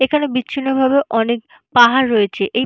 এখানে বিচ্ছিন্ন ভাবে অনেক পাহাড় রয়েছে এই--